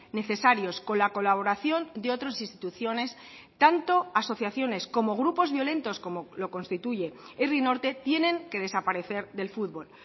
necesarios con la colaboración de otras instituciones tanto asociaciones como grupos violentos como lo constituye herri norte tienen que desaparecer del fútbol